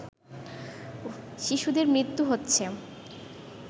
শিশুদের মৃত্যু হচ্ছে